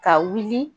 Ka wuli